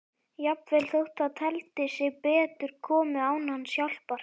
Jafnvel þótt það teldi sig betur komið án hans hjálpar.